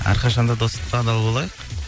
әрқашан да достыққа адал болайық